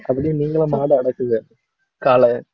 அப்படீன்னா நீங்களும் மாடு அடக்குங்க காளைய